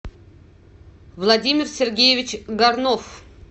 владимир сергеевич горнов